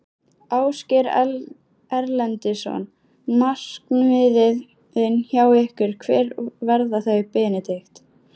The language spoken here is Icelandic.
Ásgeir Erlendsson: Markmiðin hjá ykkur, hver verða þau Benedikt?